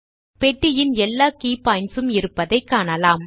பெட்டியின் எல்லா key points ம் இருப்பதைக் காணலாம்